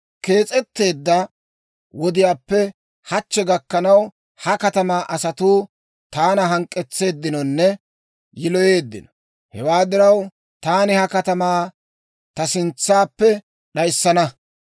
Kees'etteedda wodiyaappe hachchi gakkanaw, ha katamaa asatuu taana hank'k'etseeddinonne yiloyeeddino; hewaa diraw, taani ha katamaa ta sintsappe d'ayissana.